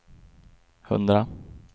hundra